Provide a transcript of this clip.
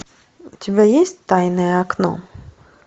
у тебя есть тайное окно